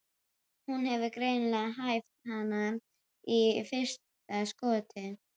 Hún hefur greinilega hæft hann í fyrsta skoti.